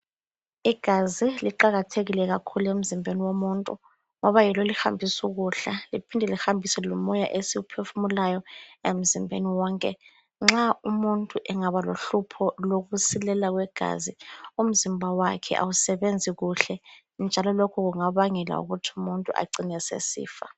Igazi liqakathekile kakhulu emzimbeni womuntu ngoba yilo elihambisa ukudla liphinde lihambise lomoya esiwuphefumulayo emzimbeni wonke, nxa umuntu engaba lohlupho lokusilela kwegazi umzimba wakhe awusebenzi kuhle njalo lokhu kungabangela ukuthi umuntu acine esesifa.